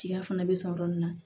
Tiga fana bɛ sɔn yɔrɔ min na